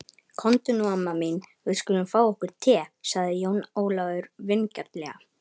Komdu nú amma mín, við skulum fá okkur te, sagði Jón Ólafur vingjarnlega.